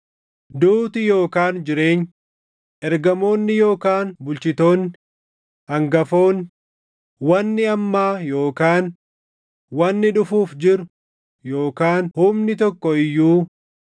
Duuti yookaan jireenyi, ergamoonni yookaan bulchitoonni, hangafoonni, wanni ammaa yookaan wanni dhufuuf jiru yookaan humni tokko iyyuu,